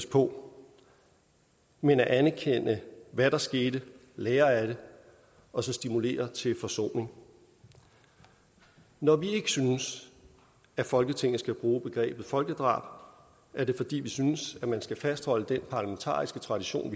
på men at anerkende hvad der skete lære af det og stimulere til forsoning når vi ikke synes at folketinget skal bruge begrebet folkedrab er det fordi vi synes at man skal fastholde den parlamentariske tradition